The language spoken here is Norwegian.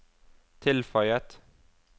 tilføyet